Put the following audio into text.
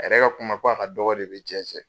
A yɛrɛ ka kuma ko a ka dɔgɔ de be jɛ cɛ.